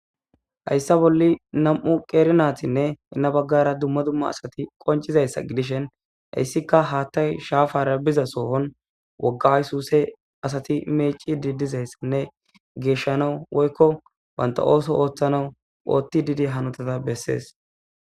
Hausa bolla nam'uqeri naytinne jenabahara duma duma asati qonvizaysa gidishin haysika hathay shafara niza sohon woga aysuse asayi mecidi dizaysanne geshamaw woylo banta ooso oothanaw oothidi dizaysa besses